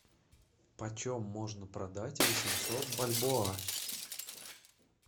почем можно продать восемьсот бальбоа